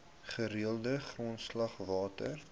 gereelde grondslag water